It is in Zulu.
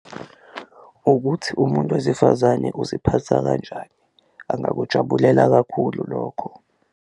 Ukuthi umuntu wesifazane uziphatha kanjani, angakujabulela kakhulu lokho.